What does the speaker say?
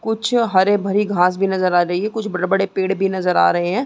कुछ हरे भरी घांस भी नज़र आ रही है कुछ बड़े-बड़े पेड़ भी नज़र आ रहे हैं।